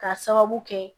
K'a sababu kɛ